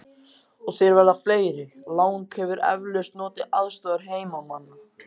Og þeir verða fleiri: Lang hefur eflaust notið aðstoðar heimamanna.